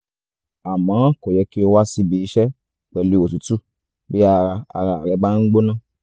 àmọ́ kò yẹ kí o wá síbi iṣẹ́ pẹ̀lú òtútù bí ara ara rẹ bá ń gbóná